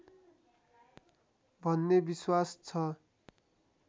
भन्ने विश्वास छ